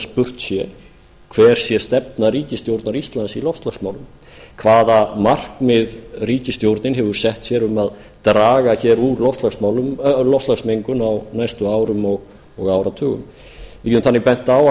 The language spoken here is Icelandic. spurt se hver sé stefna ríkisstjórnar íslands í loftslagsmálum hvaða markmið ríkisstjórnin hefur sett sér um að draga úr loftslagsmengun á næstu árum og áratugum ég hef þannig bent á